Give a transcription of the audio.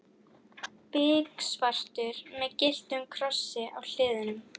Biksvartur með gylltum krossi á hliðunum.